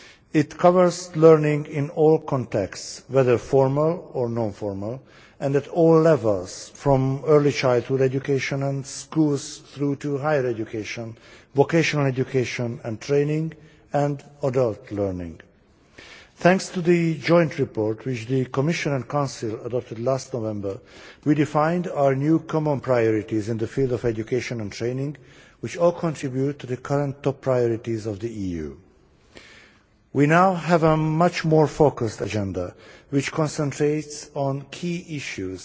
It covers learning in all contexts, whether formal or non formal, and at all levels, from early childhood education and schools through to higher education, vocational education and training, and other learning. Thanks to the joint report which the Commission and Council adopted last November, we defined our new common priorities in the field of education and training, which all contribute to the current top priorities of the EU. We now have a much more focused agenda which concentrates on key issues,